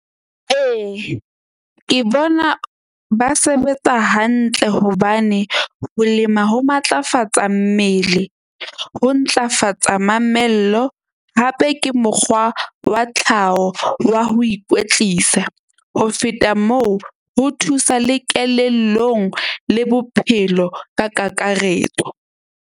Ee, ke bona ba sebetsa hantle hobane ho lema ho matlafatsa mmele. Ho ntlafatsa mamello hape ke mokgwa wa tlhaho wa ho ikwetlisa. Ho feta moo, ho thusa le kelellong le bophelo ka kakaretso.